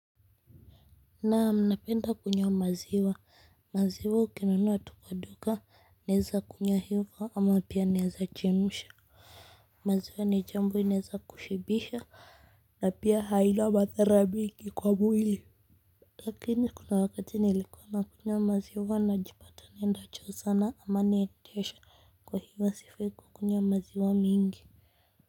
Naam napenda kunywa maziwa, maziwa ukinunua tu kwa duka, naeza kunywa hivo ama pia naeza chemsha maziwa ni jambo inaeza kushibisha na pia haina wa madhara mingi kwa mwili lakini kuna wakati nilikuwa nakunywa maziwa najipata naenda choo sana ama naendesha kwa hivo sifai kukunywa maziwa mingi.